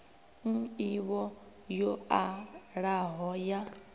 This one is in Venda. n ivho yo alaho ya